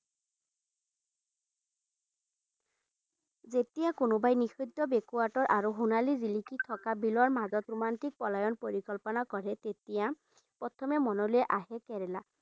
যেতিয়া কোনোবাই নিষিদ্ধ backward ৰ আৰু সোণালী জিলিকি থকা বিলৰ মাজত ৰোমান্টিক পলায়ন পৰিকল্পনা কৰে, তেতিয়া প্ৰথমে মনলে আহে কেৰেলা।